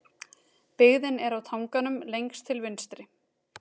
Byggðin er á tanganum lengst til vinstri.